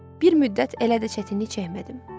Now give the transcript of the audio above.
Bir müddət elə də çətinlik çəkmədim.